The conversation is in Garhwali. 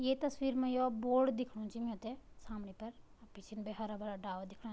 ये तस्वीर मा योक बोर्ड दिखणु च मिउते सामने पर अर पिछन भी हरा भरा डाला दिखणा।